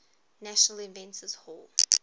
national inventors hall